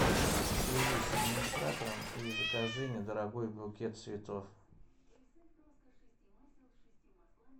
свяжись с администратором и закажи недорогой букет цветов